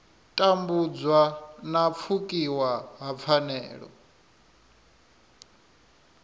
tambudzwa na pfukiwa ha pfanelo